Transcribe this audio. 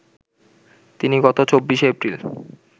তিনি গত ২৪শে এপ্রিল